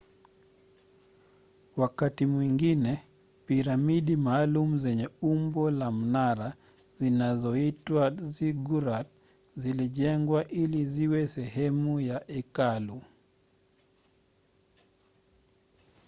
wakati mwingine piramidi maalum zenye umbo la mnara zinazoitwa ziggurat zilijengwa ili ziwe sehemu ya hekalu